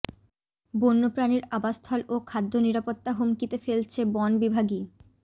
বন্য প্রাণীর আবাসস্থল ও খাদ্য নিরাপত্তা হুমকিতে ফেলছে বন বিভাগই